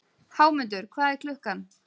Hámundur, hvað er klukkan?